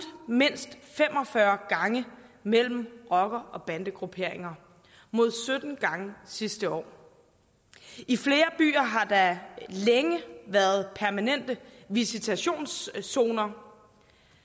mindst fem og fyrre gange mellem rocker og bandegrupperinger mod sytten gange sidste år i flere byer har der længe været permanente visitationszoner